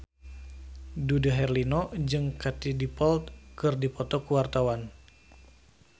Dude Herlino jeung Katie Dippold keur dipoto ku wartawan